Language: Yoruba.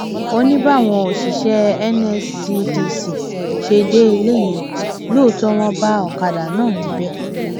ó ní báwọn òṣìṣẹ nscdc ṣe dé ilé ìyẹn lóòótọ wọn bá ọkadà náà níbẹ